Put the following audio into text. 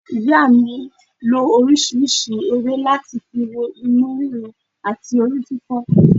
Ìyá mi lo orísìírísìí ewé láti fi wo inú ríro àti orí fífọ́